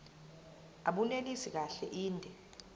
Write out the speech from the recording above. abunelisi kahle inde